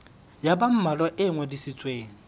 ya ba mmalwa e ngodisitsweng